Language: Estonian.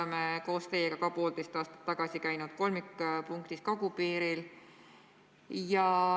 Me käisime poolteist aastat tagasi koos kagupiiril kolmikpunktis.